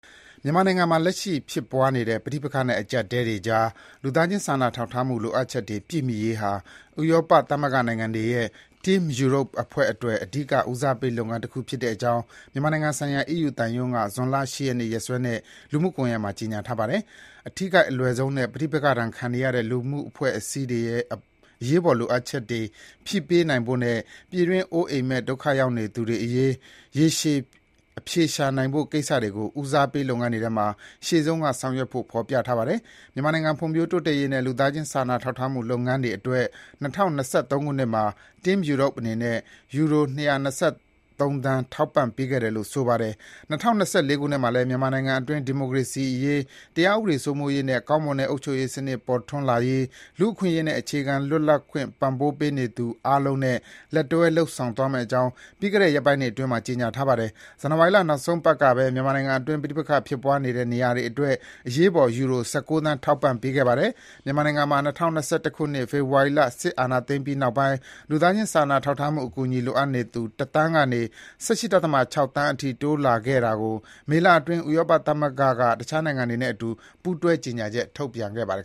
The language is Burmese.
မြန်မာနိုင်ငံမှာ လက်ရှိဖြစ်ပွားနေတဲ့ ပဋိပက္ခနဲ့ အကျပ်အတည်းတွေကြား လူသားချင်းစာနာထောက်ထားမှု လိုအပ်ချက်တွေ ပြည့်မှီရေးဟာ ဥရောပသမဂ္ဂနိုင်ငံတွေရဲ့ Team Europe အဖွဲ့အတွက် အဓိက ဦးစားပေးလုပ်ငန်းတခု ဖြစ်တဲ့အကြောင်း မြန်မာနိုင်ငံဆိုင်ရာ အီးယူသံရုံးက ဇွန်လ ၈ ရက်နေ့ နေ့စွဲနဲ့ လူမှုကွန်ယက်မှာ ကြေညာထားပါတယ်။ အထိခိုက်အလွယ်ဆုံးနဲ့ ပဋိပက္ခဒဏ်ခံနေရတဲ့ လူ့အဖွဲ့အစည်းတွေရဲ့ အရေးပေါ်လိုအပ်ချက်တွေ ဖြည့်ပေးနိုင်ဖို့နဲ့ ပြည်တွင်း အိုးအိမ်မဲ့ ဒုက္ခရောက်သူတွေအရေး ရေရှည်အဖြေရှာနိုင်ဖို့ကိစ္စတွေကို ဦးစားပေး လုပ်ငန်းတွေထဲမှာ ရှေ့ဆုံးက ဆောင်ရွက်ဖို့ ဖေါ်ပြထားပါတယ်။ မြန်မာနိုင်ငံ ဖွံ့ဖြိုးတိုးတက်ရေးနဲ့ လူသားချင်း စာနာထောက်ထားမှု လုပ်ငန်းတွေအတွက် ၂၀၂၃ ခုနှစ်မှာ Team Europe အနေနဲ့ ယူရို ၂၂၃ သန်း ထောက်ပံ့ပေးခဲ့တယ်လို့ ဆိုပါတယ်။ ၂၀၂၄ ခုနှစ်မှာလည်း မြန်မာနိုင်ငံအတွင်း ဒီမိုကရေစီရေး၊ တရားဥပဒေ စိုးမိုးရေးနဲ့ ကောင်းမွန်တဲ့ အုပ်ချုပ်ရေးစနစ် ပေါ်ထွန်းလာရေး၊ လူ့အခွင့်အရေးနဲ့ အခြေခံ လွတ်လပ်ခွင့်ပံ့ပိုးနေသူ အားလုံးနဲ့ လက်တွဲ လုပ်ဆောင်သွားမယ့်အကြောင်း ပြီးခဲ့တဲ့ ရက်ပိုင်းအတွင်းက ကြေညာထားပါတယ်။ ဇန်နဝါရီလ နောက်ဆုံးပတ်ကပဲ မြန်မာနိုင်ငံအတွင်း ပဋိပက္ခဖြစ်ပွားနေတဲ့ နေရာတွေအတွက် အရေးပေါ် ယူရို ၁၉ သန်း ထောက်ပံ့ပေးခဲ့ပါတယ်။ မြန်မာနိုင်ငံမှာ ၂၀၂၁ ဖေဖော်ဝါရီလ စစ်တပ်အာဏာသိမ်းပြီး နောက်ပိုင်း လူသားချင်းစာနာထောက်ထားမှု အကူအညီ လိုအပ်နေသူ တစ်သန်းကနေ ၁၈.၆ သန်းအထိ တိုးလာခဲ့တာကို မေလအတွင်းက ဥရောပသမဂ္ဂက တခြားနိုင်ငံတွေနဲ့အတူ ပူးတွဲ ကြေညာချက် ထုတ်ပြန်ခဲ့ပါတယ်